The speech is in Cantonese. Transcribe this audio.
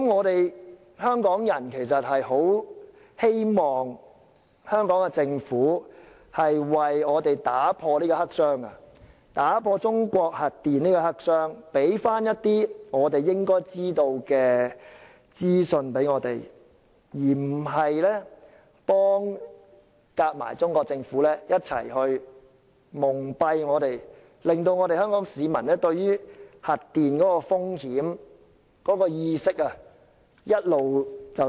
香港人很希望香港政府為我們打破中國核電發展這個黑箱，為我們提供一些應得的資訊，而不是與中國政府一起蒙蔽我們，令香港市民對核電風險的意識一直處於低下水平。